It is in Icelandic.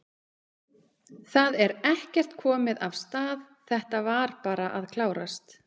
Það er ekkert komið af stað, þetta var bara að klárast?